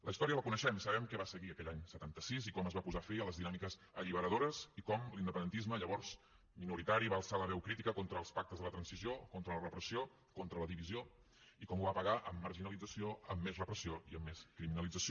la història la coneixem sabem què va seguir a aquell any setanta sis i com es va posar fi a les dinàmiques alliberadores i com l’independentisme llavors minoritari va alçar la veu crítica contra els pactes de la transició contra la repressió contra la divisió i com ho va pagar amb marginació amb més repressió i amb més criminalització